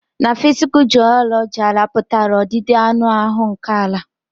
Ná physical geology, àlà pụtara ọdịdị anụ áhụ nkè àlà.